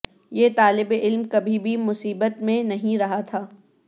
یہ طالب علم کبھی بھی مصیبت میں نہیں رہا تھا